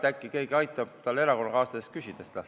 Äkki keegi erakonnakaaslasest aitab tal selle esitada.